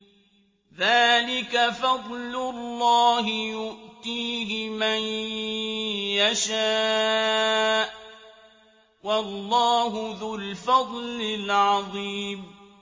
ذَٰلِكَ فَضْلُ اللَّهِ يُؤْتِيهِ مَن يَشَاءُ ۚ وَاللَّهُ ذُو الْفَضْلِ الْعَظِيمِ